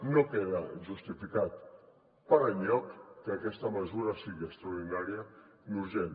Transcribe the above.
no queda justificat per enlloc que aquesta mesura sigui extraordinària ni urgent